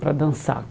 Para dançar.